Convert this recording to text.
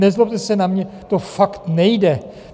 Nezlobte se na mě, to fakt nejde.